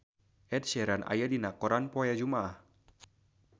Ed Sheeran aya dina koran poe Jumaah